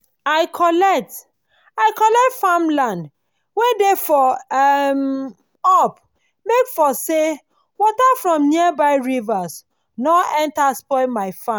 i collect i collect farm land wen dey for um up make for say water from nearby rivers nor enta spoil my farm